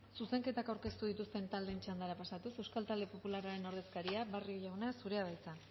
zuzenketak aurkeztu dituzten taldeen txandara pasatuz euskal talde popularraren ordezkaria barrio jauna zurea da hitza